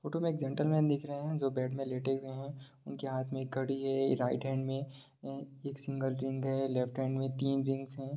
Photo में एक gentleman दिख रहें हैं जो बेड में लेटे हुए हैं उनके हाथ में एक घड़ी है राइट हैंड में एक सिंगल रिंग है लेफ्ट हैंड में तीन रिंग है।